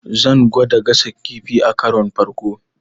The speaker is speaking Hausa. Zan gwada gasa kifi akaron farko.